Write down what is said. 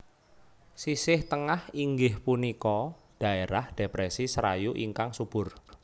Sisih Tengah inggih punika dhaerah Depresi Serayu ingkang subur